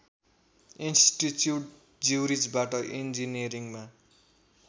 institute ज्युरिचबाट इन्जिनियरिङमा